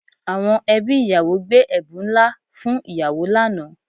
Àwọn ẹbí ìyàwó gbé ẹ̀bùn ńlá fún ìyàwó lánàá